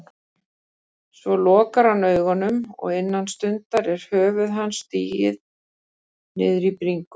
Svo lokar hann augunum og innan stundar er höfuð hans sigið niður á bringu.